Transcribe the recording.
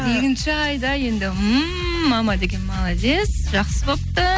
екінші айда енді ммм мама деген молодец жақсы болыпты